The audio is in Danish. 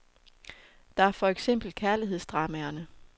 Der er for eksempel kærlighedsdramaerne.